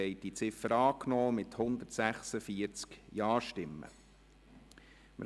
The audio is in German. Sie haben die Ziffer 3 mit 146 Ja-Stimmen angenommen.